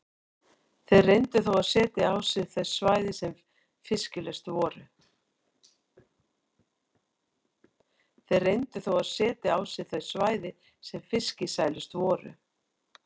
Þeir reyndu þó að setja á sig þau svæði sem fiskisælust voru.